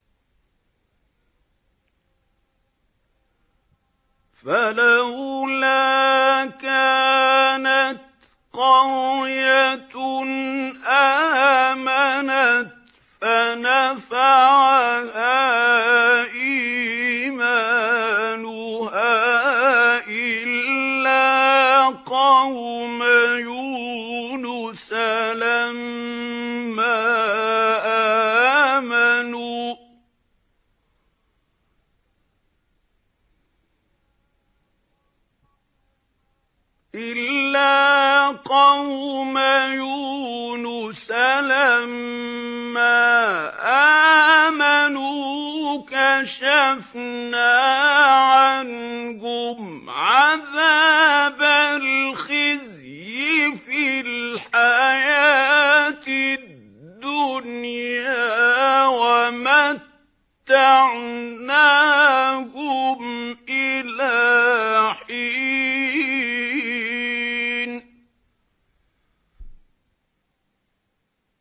فَلَوْلَا كَانَتْ قَرْيَةٌ آمَنَتْ فَنَفَعَهَا إِيمَانُهَا إِلَّا قَوْمَ يُونُسَ لَمَّا آمَنُوا كَشَفْنَا عَنْهُمْ عَذَابَ الْخِزْيِ فِي الْحَيَاةِ الدُّنْيَا وَمَتَّعْنَاهُمْ إِلَىٰ حِينٍ